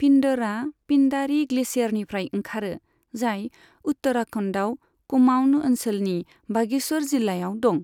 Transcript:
पिन्डरआ पिन्डारी ग्लेशियारनिफ्राय ओंखारो, जाय उत्तराखन्डआव कुमाऊँन ओनसोलनि बागेश्वर जिल्लायाव दं।